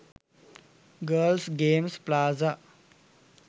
girls games plaza